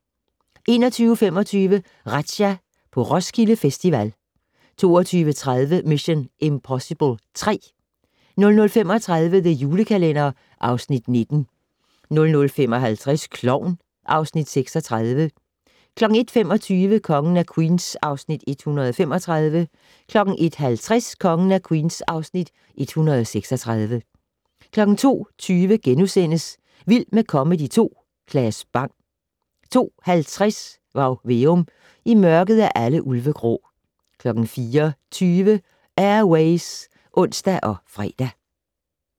21:25: Razzia - på Roskilde Festival 22:30: Mission: Impossible 3 00:35: The Julekalender (Afs. 19) 00:55: Klovn (Afs. 36) 01:25: Kongen af Queens (Afs. 135) 01:50: Kongen af Queens (Afs. 136) 02:20: Vild med comedy 2 - Claes Bang * 02:50: Varg Veum - I mørket er alle ulve grå 04:20: Air Ways (ons og fre)